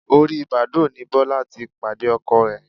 Orí Bàsdóò ni Bọ́lá ti pàdé Ọkọ ẹ̀.